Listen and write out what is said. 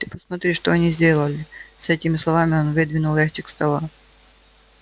ты посмотри что они сделали с этими словами он выдвинул ящик стола